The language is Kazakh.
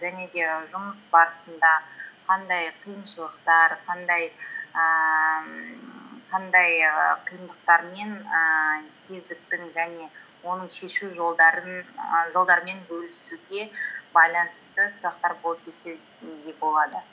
және де жұмыс барысында қандай қиыншылықтар ііі қандай ііі қиындықтармен ііі кезіктің және оның шешу і жолдарымен бөлісуге байланысты сұрақтар болды десе де болады